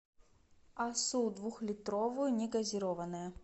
асус двухлитровую негазированная